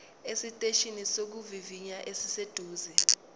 esiteshini sokuvivinya esiseduze